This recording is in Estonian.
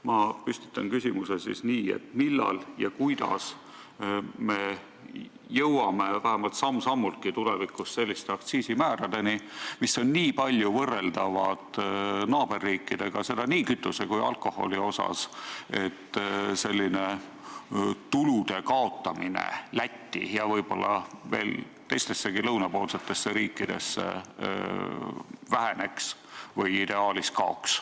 Ma püstitan küsimuse siis nii, et millal ja kuidas me jõuame vähemalt samm-sammultki tulevikus selliste aktsiisimääradeni, mis on nii palju võrreldavad naaberriikidega, seda nii kütuse kui ka alkoholi puhul, et selline tulude kaotamine Lätti ja võib-olla veel teistessegi lõunapoolsetesse riikidesse väheneks või ideaalis kaoks.